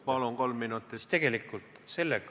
Palun, kolm minutit!